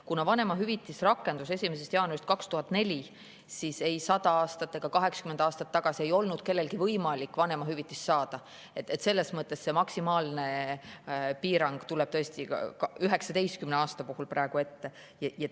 Kuna vanemahüvitis rakendus 1. jaanuarist 2004, siis 100 aastat ega 80 aastat tagasi ei olnud kellelgi võimalik vanemahüvitist saada, selles mõttes see maksimaalne piirang tuleb tõesti 19 aasta puhul praegu ette.